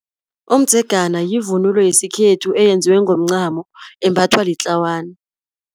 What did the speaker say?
Umdzegana yivunulo yesikhethu, eyenziwe ngomncamo, embathwa litlawana.